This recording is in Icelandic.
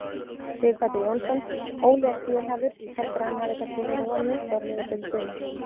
Sighvatur Jónsson: Óli er fjölhæfur, heldurðu að hann hafi kannski verið of nýstárlegur fyrir suma?